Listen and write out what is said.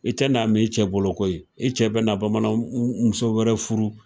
I tɛ n'a m'i cɛ bolo koyi. I cɛ be na bamanan muso wɛrɛ furu.